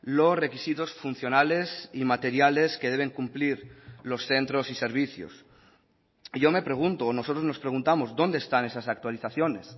los requisitos funcionales y materiales que deben cumplir los centros y servicios yo me pregunto o nosotros nos preguntamos dónde están esas actualizaciones